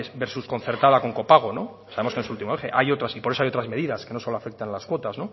versus concertada con copago sabemos que no es el último eje hay otras y por eso hay otras medidas que no solo afectan a las cuotas